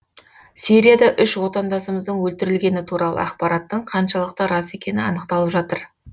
сирияда үш отандасымыздың өлтірілгені туралы ақпараттың қаншалықты рас екені анықталып жатыр